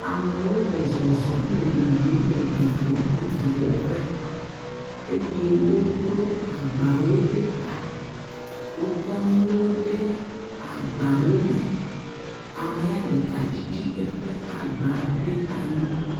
Amewo le zɔzɔm, le yiyim le gbɔgbɔm le dɔwɔƒe eye wodro agbawo ɖe ta. Wokɔ nuwo ɖe agbawome. Amea ɖeka ɖiɖi eƒe agba ɖe anyi.